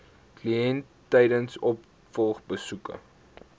kliënt tydens opvolgbesoeke